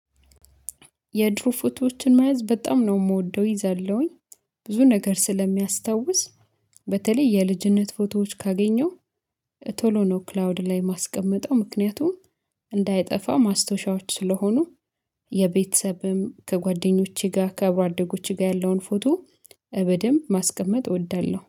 የድሮ ፎቶዎችን መያዝ በጣም ነው የምወደው ይዘለሁኝ ብዙ ነገር ስለሚያስታውስ። በተለይ የልጅነት ፎቶዎች ካገኘው ቶሎ ነው ክላውድ ላይ ማስቀመጠው ምክንያቱም እንዳይጠፋ ማስታወሻዎች ስለሆኑ። በተለይ የልጅነት ፎቶዎች ካገኘው ቶሎ ነው ክላውድ ላይ ማስቀመጠው ምክንያቱም እንዳይጠፋ ማስታወሻዎች ስለሆኑ